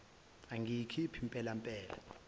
angayikhiphi mpela mpela